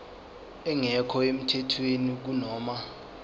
engekho emthethweni kunoma